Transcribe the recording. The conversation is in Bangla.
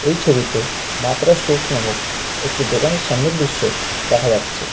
এই ছবিতে মা তারা স্টোর্স নামক একটি দোকানের সামনের দৃশ্য দেখা যাচ্ছে।